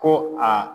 Ko aa